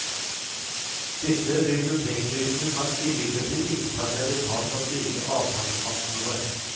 Disse bibliotektypene kan imidlertid ikke ta seg betalt av slike avtalepartnere.